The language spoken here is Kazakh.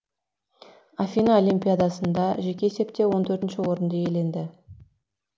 афина олимпиадасында жеке есепте он төртінші орынды иеленді